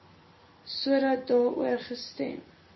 sodat daaroor gestem